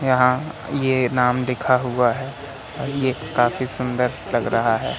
यहां ये नाम लिखा हुआ है ये काफी सुंदर लग रहा है।